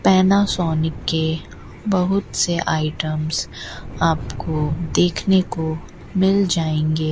Panasonic के बहुत से आइटम्स आपको देखने को मिल जाएंगे।